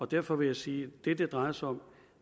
derfor vil jeg sige at det det drejer sig om